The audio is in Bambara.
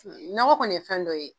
Nɔgɔ kɔni ye fɛn dɔ ye.